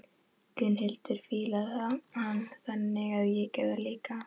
Gunnhildur fílar hann, þannig að ég geri það líka.